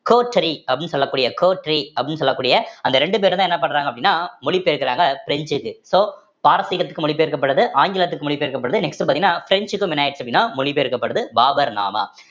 அப்படின்னு சொல்லக்கூடிய அப்படின்னு சொல்லக்கூடிய அந்த ரெண்டு பேரும்தான் என்ன பண்றாங்க அப்படின்னா மொழிபெயர்க்கிறாங்க French க்கு so பாரசீகத்துக்கு மொழி பெயர்க்கப்படுது ஆங்கிலத்துக்கு மொழி பெயர்க்கப்படுது next பாத்தீங்கன்னா பிரெஞ்சுக்கும் என்ன ஆயிடுச்சு அப்படின்னா மொழி பெயர்க்கப்படுது பாபர் நாமா